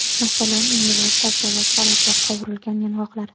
Masalan, meva, sabzavot, salat va qovurilgan yong‘oqlar.